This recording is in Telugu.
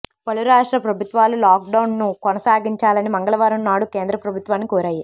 పలు రాష్ట్ర ప్రభుత్వాలు లాక్ డౌన్ ను కొనసాగించాలని మంగళవారం నాడు కేంద్ర ప్రభుత్వాన్ని కోరాయి